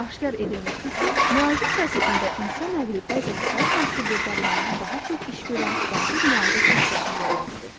Aşkar edilmişdir ki, müalicə prosesində insan nəqli bəzən hər hansı bir dərmandan daha çox iş görən vacib müalicə funksiyasını yerinə yetirir.